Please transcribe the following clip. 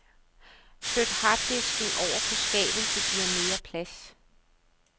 Flyt harddisken ovre på skabet, det giver mere plads.